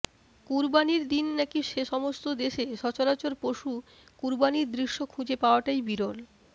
কুরবানীর দিন নাকি সে সমস্ত দেশে সচারচর পশু কুরবানীর দৃশ্য খুঁজে পাওয়াটাই বিরল